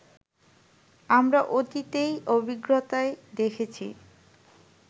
আমরা অতীতের অভিজ্ঞতায় দেখেছি